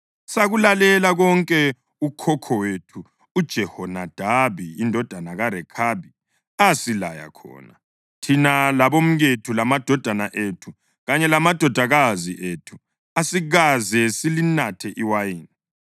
Sakulalela konke ukhokho wethu uJehonadabi indodana kaRekhabi asilaya khona. Thina labomkethu lamadodana ethu kanye lamadodakazi ethu asikaze silinathe iwayini,